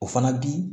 O fana bi